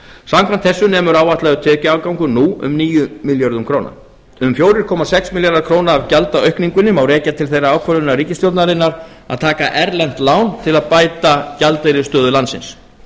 samkvæmt þessu nemur áætlaður tekjuafgangur nú um níu milljörðum króna um fjóra komma sex milljarða króna af gjaldaaukningunni má rekja til þeirrar ákvörðunar ríkisstjórnarinnar að taka erlent lán til að bæta gjaldeyrisstöðu landsins